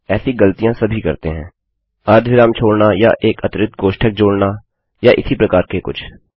ऐसी गलतियाँ सभी करते हैं अर्धविराम छोड़ना या एक अतिरिक्त कोष्ठक जोड़ना या इसी प्रकार से कुछ